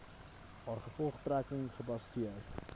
haar gevolgtrekking gebaseer